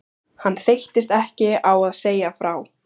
Hann þreyttist ekki á að segja frá